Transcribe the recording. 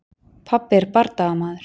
Pabbi er bardagamaður.